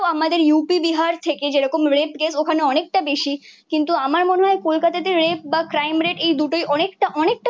আমাদের UP বিহার থেকে যেরকম রেপ কেস ওখানে অনেকটা বেশি। কিন্তু আমার মনে হয় কলকাতাতে রেপ বা ক্রাইম রেট এই দুটোই অনেকটা অনেকটা